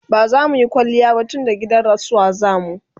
bazamuyi kwaliya ba tunda gidan rasuwa zamu